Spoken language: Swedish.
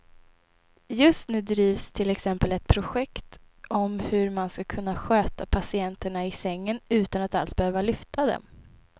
Just nu drivs till exempel ett projekt om hur man ska kunna sköta patienterna i sängen utan att alls behöva lyfta dem.